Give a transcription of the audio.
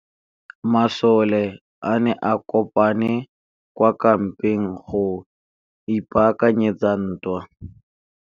Masole a ne a kopane kwa kampeng go ipaakanyetsa ntwa.